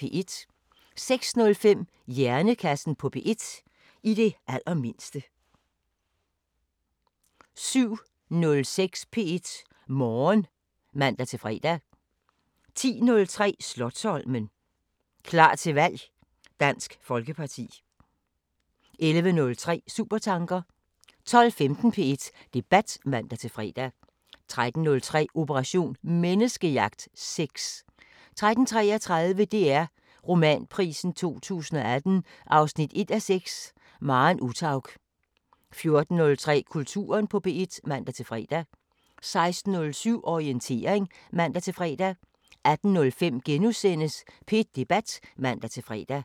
06:05: Hjernekassen på P1: I det allermindste 07:06: P1 Morgen (man-fre) 10:03: Slotsholmen – klar til valg: Dansk Folkeparti 11:03: Supertanker 12:15: P1 Debat (man-fre) 13:03: Operation Menneskejagt: Sex 13:33: DR Romanprisen 2018 1:6 – Maren Uthaug 14:03: Kulturen på P1 (man-fre) 16:07: Orientering (man-fre) 18:05: P1 Debat *(man-fre)